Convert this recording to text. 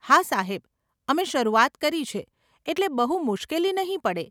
હા સાહેબ, અમે શરૂઆત કરી છે, એટલે બહુ મુશ્કેલી નહીં પડે.